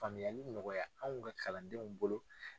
Faamuyali nɔgɔya anw ka kalandenw bolo.